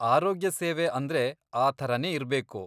ಆರೋಗ್ಯಸೇವೆ ಅಂದ್ರೆ ಆ ಥರಾನೇ ಇರ್ಬೇಕು.